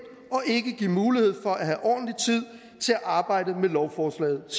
og ikke give mulighed for at have ordentlig tid til at arbejdet med lovforslaget og